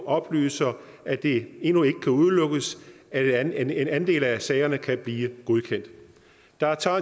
oplyser at det endnu ikke kan udelukkes at en andel af sagerne kan blive godkendt der er